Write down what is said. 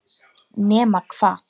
Nema hvað!?!